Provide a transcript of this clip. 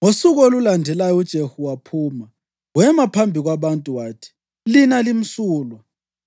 Ngosuku olulandelayo uJehu waphuma; wema phambi kwabantu wathi, “Lina limsulwa.